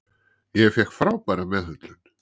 Ég fékk frábæra meðhöndlun.